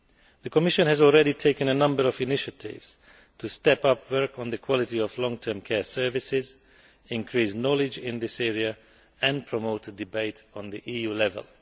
The Commission has already taken a number of initiatives to step up work on the quality of long term care services, increase knowledge in this area and promote debate at EU level.